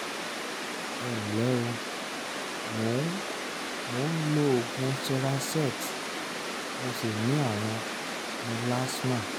ẹ nlẹ́ o mo ń mo ń lo oògùn cerazette mo sì ní ààrùn mélasma